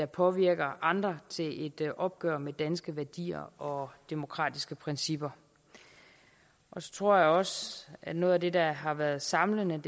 påvirker andre til et opgør med danske værdier og demokratiske principper og så tror jeg også at noget af det der har været samlende